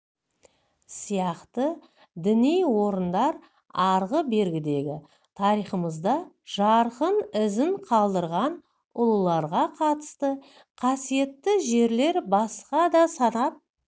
сияқты діни орындар арғы-бергідегі тарихымызда жарқын ізін қалдырған ұлыларға қатысты қасиетті жерлер басқа да санап